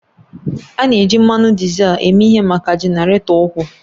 A na-eji mmanụ dizel eme ihe maka jenaratọ ukwuu